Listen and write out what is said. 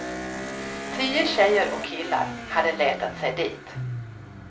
Tio tjejer och killar hade letat sig dit.